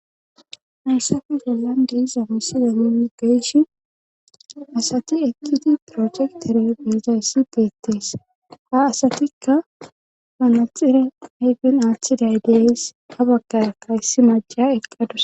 hayssafi gollan deiza misida nun geyshi asati ekkidi projektere biizayssi beettees ha asatikka manaxire hayfen aaththiday deys ha baggarakkayssi maja eqqadus